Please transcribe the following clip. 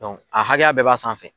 a hakɛya bɛɛ b'a sanfɛ.